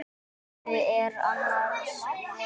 Gínu er annars vegar.